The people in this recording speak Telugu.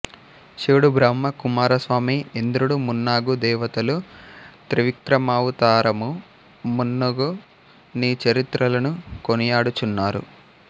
శివుడు బ్రహ్మ కుమారస్వామి ఇంద్రుడు మున్నగు దేవతలు త్రివిక్రమావతారము మున్నగు నీ చరిత్రలను కొనియాడుచున్నారు